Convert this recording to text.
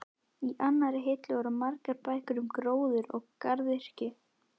Í annarri hillu voru margar bækur um gróður og garðyrkju.